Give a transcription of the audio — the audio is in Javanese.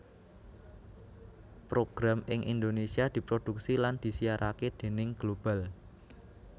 Program ing Indonesia diproduksi lan disiarake déning Global